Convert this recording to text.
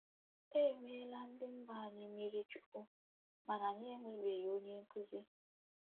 “ E meela ndị mba anyị mmirichukwu mana anyị enwebeghi onye nkụzi.